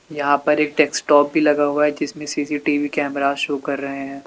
यहां पर एक डेक्सटॉप भी लगा हुआ है जिसमे सी_सी_टी_वी कैमरा शो कर रहे हैं।